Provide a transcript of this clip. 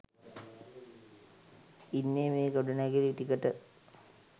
ඉන්නෙ මේ ගොඩනැගිලි ටිකට.